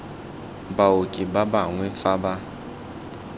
baoki ba bangwe fa ba